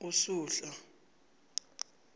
usuhla